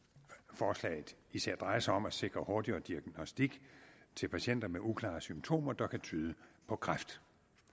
forslaget især drejer sig om at sikre hurtigere diagnostik til patienter med uklare symptomer der kan tyde på kræft